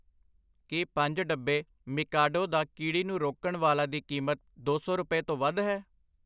ਕੀ ਪੰਜ, ਡੱਬੇ ਮੀਕਾਡੋ ਦਾ ਕੀੜੀ ਨੂੰ ਰੋਕਣ ਵਾਲਾ ਦੀ ਕੀਮਤ ਦੋ ਸੌ ਰੁਪਏ ਤੋਂ ਵੱਧ ਹੈ?